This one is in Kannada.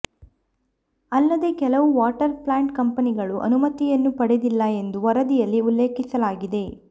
ಅಲ್ಲದೆ ಕೆಲವು ವಾಟರ್ ಪ್ಲಾಂಟ್ ಕಂಪನಿಗಳು ಅನುಮತಿಯನ್ನು ಪಡೆದಿಲ್ಲ ಎಂದು ವರದಿಯಲ್ಲಿ ಉಲ್ಲೇಖಿಸಲಾಗಿದೆ